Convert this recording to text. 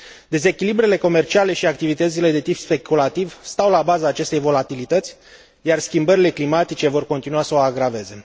Dezechilibrele comerciale și activitățile de tip speculativ stau la baza acestei volatilități, iar schimbările climatice vor continua să o agraveze.